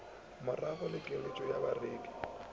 magoro le keletšo ya bareki